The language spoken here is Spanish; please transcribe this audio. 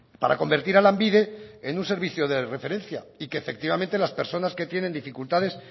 para convertir a lanbide en un servicio de referencia y que efectivamente las personas que tienen dificultades